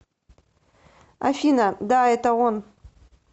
афина да это он